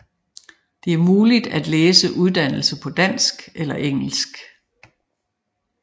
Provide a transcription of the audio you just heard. Det er muligt at læse uddannelsen på dansk eller engelsk